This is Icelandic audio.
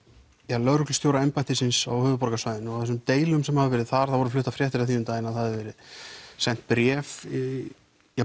lögreglustjóraembættisins á höfuðborgarsvæðinu og þessum deilum sem hafa verið þar það voru fluttar fréttir af því um daginn að það hefði verið sent bréf í